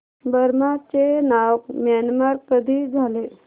Burma चे नाव Myanmar कधी झाले